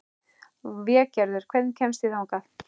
Végerður, hvernig kemst ég þangað?